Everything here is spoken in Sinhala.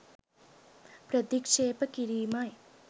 ප්‍රතික්ෂේප කිරීමයි